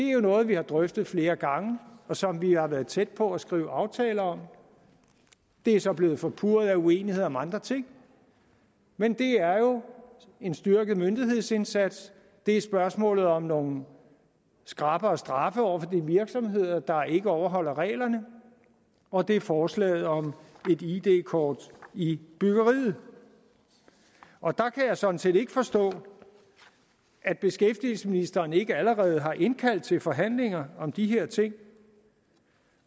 er noget vi har drøftet flere gange og som vi har været tæt på at skrive aftaler om det er så blevet forpurret af uenighed om andre ting men det er jo en styrket myndighedsindsats det er spørgsmålet om nogle skrappere straffe over for de virksomheder der ikke overholder reglerne og det er forslaget om et id kort i byggeriet og der jeg sådan set ikke forstå at beskæftigelsesministeren ikke allerede har indkaldt til forhandlinger om de her ting